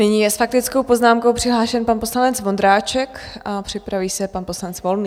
Nyní je s faktickou poznámkou přihlášen pan poslanec Vondráček a připraví se pan poslanec Volný.